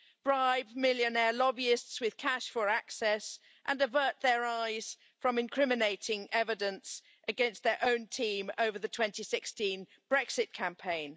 bribe millionaire lobbyists with cash for access, and avert their eyes from incriminating evidence against their own team over the 2016 Brexit campaign.